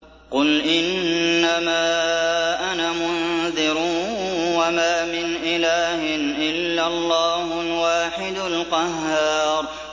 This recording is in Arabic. قُلْ إِنَّمَا أَنَا مُنذِرٌ ۖ وَمَا مِنْ إِلَٰهٍ إِلَّا اللَّهُ الْوَاحِدُ الْقَهَّارُ